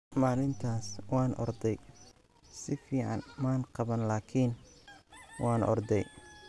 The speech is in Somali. maalintaas waan orday, si fiican maan qaban laakiin waan orday.